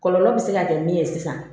Kɔlɔlɔ bɛ se ka kɛ min ye sisan